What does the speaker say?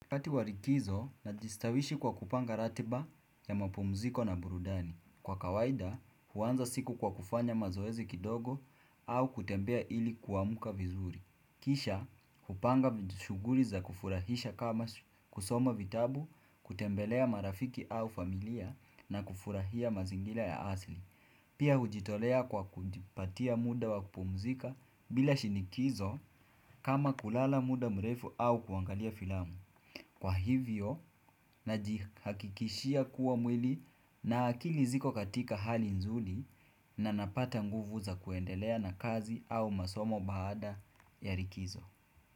Wakati wa likizo, najistawisha kwa kupanga ratiba ya mapumziko na burudani Kwa kawaida, huanza siku kwa kufanya mazoezi kidogo au kutembea ili kuamka vizuri Kisha, kupanga shughuli za kufurahisha kama kusoma vitabu, kutembelea marafiki au familia na kufurahia mazingira ya asili Pia hujitolea kwa kujipatia muda wa kupumzika bila shinikizo kama kulala muda mrefu au kuangalia filamu Kwa hivyo, najihakikishia kuwa mwili na akili ziko katika hali nzuri na napata nguvu za kuendelea na kazi au masomo baada ya likizo.